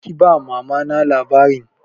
Kar ki ba Mama na labarin!